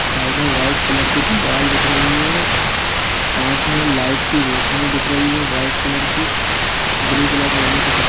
side में white colour की दीवाल दिख रही है कांच में लाइट की रोशनी दिख रही है व्हाइट कलर की ब्लू कलर का नीचे कपड़ा--